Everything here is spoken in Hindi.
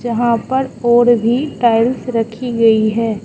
यहां पर और भी टाइल्स रखी गई है।